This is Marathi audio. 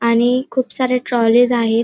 आणि खूप सारे ट्रॉलीज आहे.